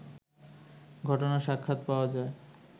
ঘটনার সাক্ষাৎ পাওয়া যায়